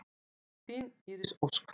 Þín Íris Ósk.